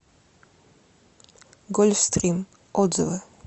гольфстрим отзывы